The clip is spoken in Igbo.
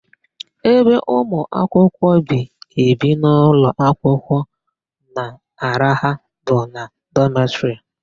Ebe ụmụakwụkwọ bi ebi n'ụlọakwụkwọ na-araha bụ na dọmetịrị.